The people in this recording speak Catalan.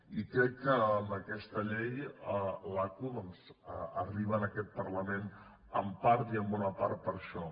i crec que amb aquesta llei l’aqu doncs arriba en aquest parlament en part i en bona part per això